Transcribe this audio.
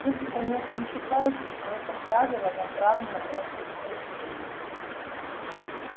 вы же конечно не считаете что это правило направлено против постелей